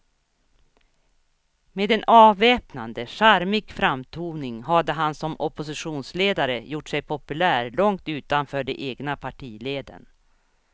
Med en avväpnande, charmig framtoning hade han som oppositionsledare gjort sig populär långt utanför de egna partileden.